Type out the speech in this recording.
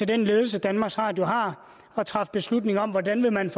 den ledelse danmarks radio har at træffe beslutning om hvordan man